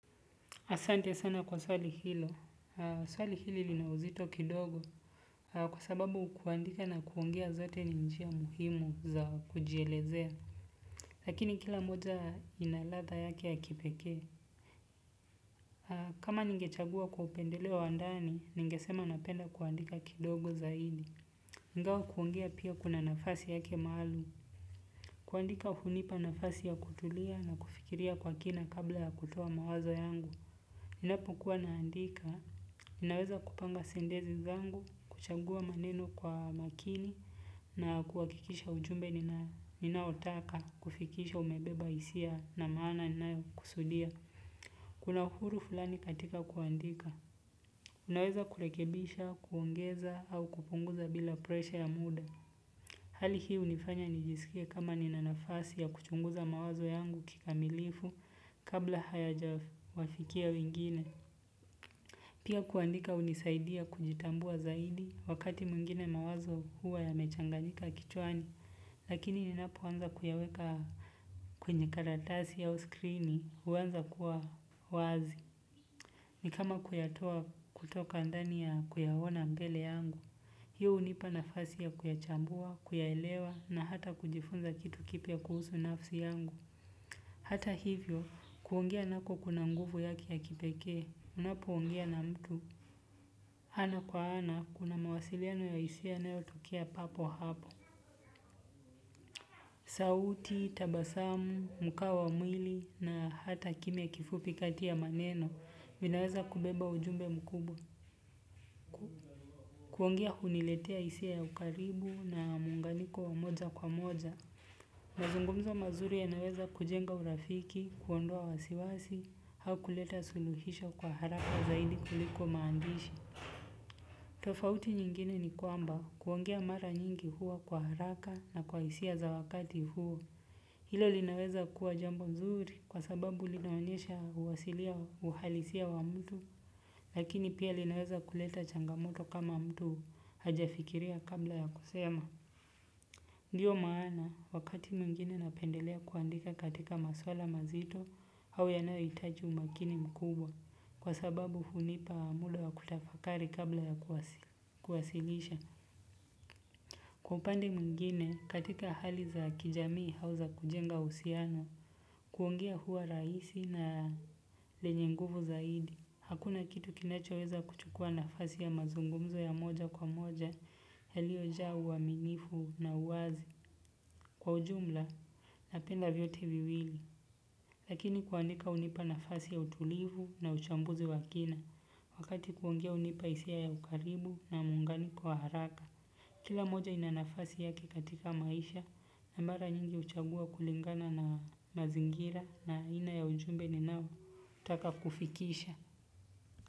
Asante sana kwa swali hilo. Swali hili lina uzito kidogo kwa sababu kuandika na kuongea zote ni njia muhimu za kujielezea. Lakini kila moja ina ladha yake ya kipeke. Kama ninge chagua kwa upendeleo wa ndani, ninge sema napenda kuandika kidogo zaidi. Ingawa kuongea pia kuna nafasi yake maalum. Kuandika hunipa nafasi ya kutulia na kufikiria kwa kina kabla ya kutoa mawazo yangu. Ninapo kuwa naandika, ninaweza kupanga sentensi zangu, kuchagua maneno kwa makini na kuhakikisha ujumbe ninaotaka kufikisha umebeba hisia na maana ninayo kusudia. Kuna uhuru fulani katika kuandika. Unaweza kurekebisha, kuongeza au kupunguza bila presha ya muda. Hali hii unifanya nijisikie kama nina nafasi ya kuchunguza mawazo yangu kikamilifu kabla hayajawafikia wengine. Pia kuandika unisaidia kujitambua zaidi wakati mwingine mawazo huwa yamechanganyika kichwani lakini ninapo anza kuyaweka kwenye karatasi au skrini huanza kuwa wazi ni kama kuyatoa kutoka ndani ya kuyaona mbele yangu. Hii hunipa nafasi ya kuyachambua, kuyaelewa na hata kujifunza kitu kipya kuhusu nafsi yangu. Hata hivyo, kuongea nako kuna nguvu yake ya kipeke, unapo ongea na mtu. Ana kwa ana, kuna mawasiliano ya hisia yanayotokea papo hapo. Sauti, tabasamu, mkao wa mwili na hata kimya kifupi kati ya maneno, vinaweza kubeba ujumbe mkubwa. Kuongea huniletea hisia ya ukaribu na muunganiko wa moja kwa moja mazungumzo mazuri yanaweza kujenga urafiki kuondoa wasiwasi au kuleta suluhisho haraka zaidi kuliko maandishi tofauti nyingine ni kwamba kuongea mara nyingi huwa kwa haraka na kwa hisia za wakati huo. Hilo linaweza kuwa jambo mzuri kwa sababu linaonyesha uwasilia uhalisia wa mtu. Lakini pia linaweza kuleta changamoto kama mtu haja fikiria kabla ya kusema. Ndiyo maana wakati mwingine napendelea kuandika katika maswala mazito au yanayohitaji umakini mkubwa. Kwa sababu hunipa muda wa kutafakari kabla ya kuwasilisha kwa upande mwingine katika hali za kijamii au za kujenga uhusiano kuongea huwa rahisi na lenye nguvu zaidi hakuna kitu kinacho weza kuchukua nafasi ya mazungumzo ya moja kwa moja yaliyojaa uaminifu na uwazi kwa ujumla napenda vyote viwili lakini kuandika hunipa nafasi ya utulivu na uchambuzi wa kina wakati kuongea hunipa hisia ya ukaribu na muunganiko wa haraka kila moja inanafasi yake katika maisha na mara nyingi huchagua kulingana na mazingira na ina ya ujumbe ninaotaka kufikisha.